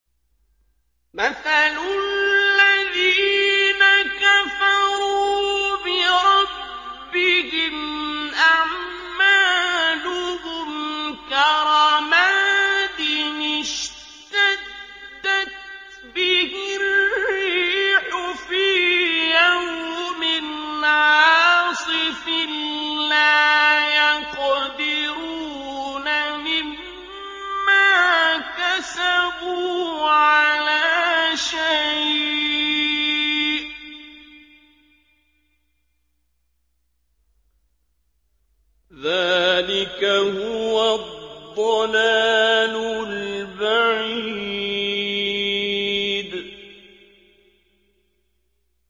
مَّثَلُ الَّذِينَ كَفَرُوا بِرَبِّهِمْ ۖ أَعْمَالُهُمْ كَرَمَادٍ اشْتَدَّتْ بِهِ الرِّيحُ فِي يَوْمٍ عَاصِفٍ ۖ لَّا يَقْدِرُونَ مِمَّا كَسَبُوا عَلَىٰ شَيْءٍ ۚ ذَٰلِكَ هُوَ الضَّلَالُ الْبَعِيدُ